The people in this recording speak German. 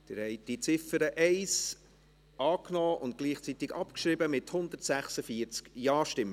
Sie haben diese Ziffer 1 einstimmig angenommen und gleichzeitig abgeschrieben, mit 146 Ja-Stimmen.